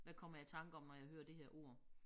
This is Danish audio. Hvad kommer jeg i tanker om når jeg hører det her ord